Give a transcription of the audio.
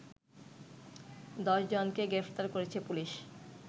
১০ জনকে গ্রেপ্তার করেছে পুলিশ